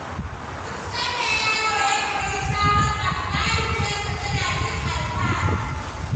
Duk sanda yaro ya koyi sabon abu, mahaifiyarsa tana jin alfahari.